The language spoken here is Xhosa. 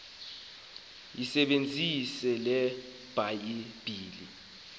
yisebenzise le bhayibhile